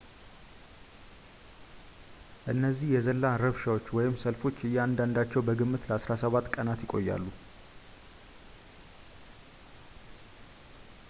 እነዚህ የዘላን ረብሻዎች ወይም ሰልፎች እያንዳንዳቸው በግምት ለ17 ቀናት ይቆያሉ